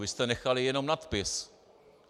Vy jste nechali jenom nadpis.